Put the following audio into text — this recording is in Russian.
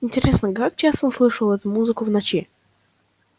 интересно как часто он слышал эту музыку в ночи